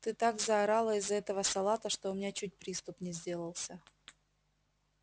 ты так заорала из-за этого салата что у меня чуть приступ не сделался